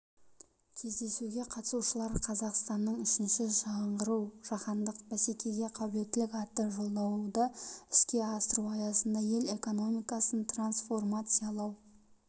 кездесуге қатысушылар қазақстанның үшінші жаңғыруы жаһандық бәсекеге қабілеттілік атты жолдауды іске асыру аясында ел экономикасын трансформациялау